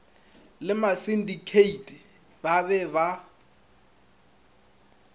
le masindikheithi ba be ba